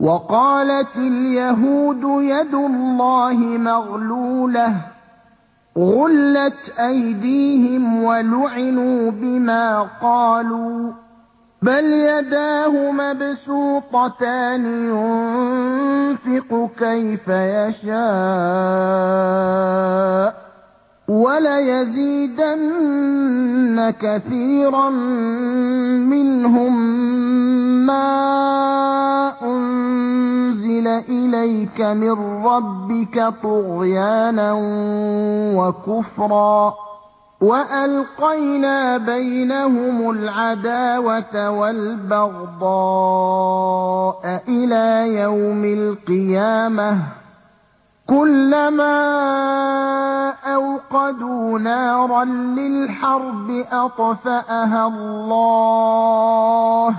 وَقَالَتِ الْيَهُودُ يَدُ اللَّهِ مَغْلُولَةٌ ۚ غُلَّتْ أَيْدِيهِمْ وَلُعِنُوا بِمَا قَالُوا ۘ بَلْ يَدَاهُ مَبْسُوطَتَانِ يُنفِقُ كَيْفَ يَشَاءُ ۚ وَلَيَزِيدَنَّ كَثِيرًا مِّنْهُم مَّا أُنزِلَ إِلَيْكَ مِن رَّبِّكَ طُغْيَانًا وَكُفْرًا ۚ وَأَلْقَيْنَا بَيْنَهُمُ الْعَدَاوَةَ وَالْبَغْضَاءَ إِلَىٰ يَوْمِ الْقِيَامَةِ ۚ كُلَّمَا أَوْقَدُوا نَارًا لِّلْحَرْبِ أَطْفَأَهَا اللَّهُ ۚ